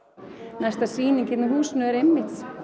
næsta sýning hérna í húsinu er einmitt